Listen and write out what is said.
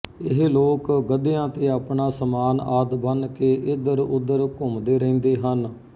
ਇਹ ਲੋਕ ਗਧਿਆਂ ਤੇ ਆਪਣਾ ਸਾਮਾਨ ਆਦਿ ਬੰਨ੍ਹ ਕੇ ਇੱਧਰਉੱਧਰ ਘੁੰਮਦੇ ਰਹਿੰਦੇ ਹਨ